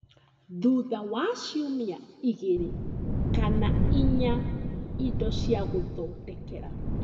thutha wa ciumia igĩrĩ kana inya indo cia gũthondekera